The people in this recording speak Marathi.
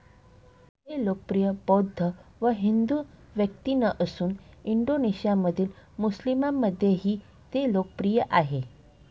हे लोकप्रिय बौद्ध व हिंदू व्यक्तीनं असून इंडोनेशियामधील मुस्लिमांमध्येही ते लोकप्रिय आहे.